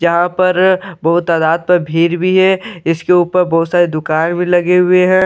जहां पर बहुत तदात पर भीड़ भी है इसके ऊपर बहुत सारे दुकान भी लगे हुए है।